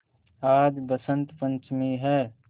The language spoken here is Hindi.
आज बसंत पंचमी हैं